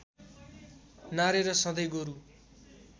नारेर सधैँ गोरू